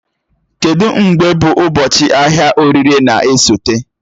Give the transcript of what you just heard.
Kedụ mgbe bụ ụbọchị ahịa oririe na-esote?